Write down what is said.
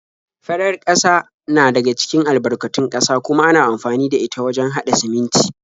Farar ƙasa na daga cikin albarkatun ƙasa kuma ana amfani da ita wajen haɗa siminti.